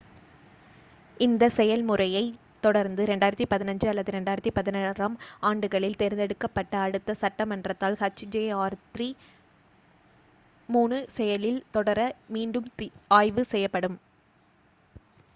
இந்த செயல்முறையைத் தொடர்ந்து 2015 அல்லது 2016 ஆம் ஆண்டுகளில் தேர்ந்தெடுக்கப்பட்ட அடுத்த சட்டமன்றத்தால் hjr-3 செயலில் தொடர மீண்டும் ஆய்வு செய்யப்படும்